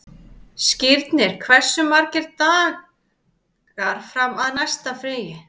Skírnir, hversu margir dagar fram að næsta fríi?